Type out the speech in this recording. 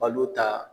Balo ta